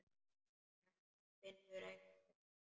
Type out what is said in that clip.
En hún finnur enga lykt.